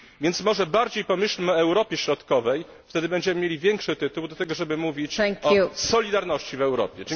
Więc może bardziej pomyślmy o Europie Środkowej, wtedy będziemy mieli większy tytuł do tego, żeby mówić o solidarności w Europie.